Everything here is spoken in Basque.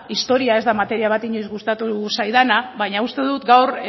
historia ez da materia bat inoiz gustatu zaidana baina uste dut gaur